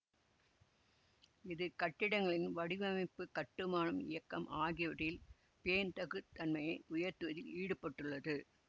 இது கட்டிடங்களின் வடிவமைப்பு கட்டுமானம் இயக்கம் ஆகியவற்றில் பேண்தகு தன்மையை உயர்த்துவதில் ஈடுபட்டுள்ளது